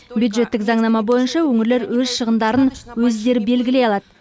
бюджеттік заңнама бойынша өңірлер өз шығындарын өздері белгілей алады